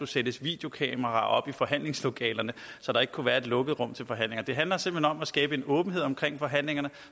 sættes videokameraer op i forhandlingslokalerne så der ikke kunne være et lukket rum til forhandlinger det handler simpelt hen om at skabe en åbenhed omkring forhandlingerne